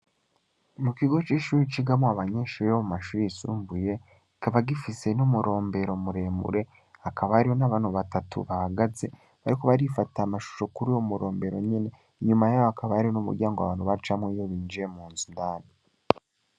Mu kigo c'ishuru icigamo abanyenshuri yamu mashuri isumbuye ikaba gifise n'umurombero muremure akabario n'abantu batatu bahagaze bariko barifata amashusho kuri wo murombero nyene inyuma yayo akabayario n'umurya ngo abantu bajamwo iyo binjiye mu nzu ndani.